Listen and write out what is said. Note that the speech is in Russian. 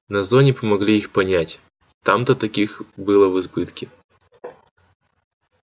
на зоне помогли их понять там-то таких было в избытке